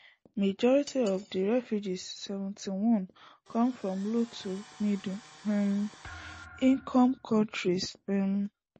majority of di refugees seventy-one come from low to middle um income kontris um